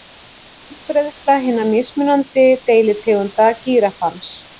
Útbreiðsla hinna mismunandi deilitegunda gíraffans.